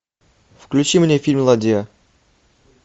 включи мне фильм ладья